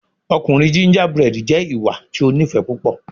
Ọkunrin gingerbread jẹ iwa ti o nifẹ pupọ